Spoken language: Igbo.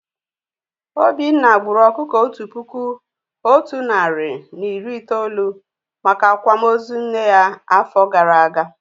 Obinna gburu ọkụkọ Otu puku Otu nari na iri itolu maka Akwama ozu nne ya áfọ gara agaa